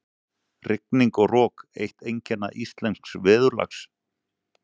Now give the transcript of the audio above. Rigning og rok- eitt einkenna íslensks veðurlags.